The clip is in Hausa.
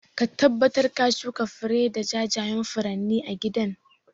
Ka tabbatar ka shuka fari da jajayan furanni a gidan